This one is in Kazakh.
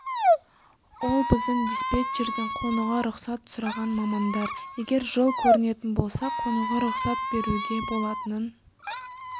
ол біздің диспетчерден қонуға рұқсат сұраған мамандар егер жол көрінетін болса қонуға рұқсат беруге болатынын